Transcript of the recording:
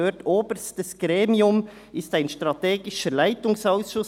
«Oberstes Gremium ist ein strategischer Leitungsausschuss.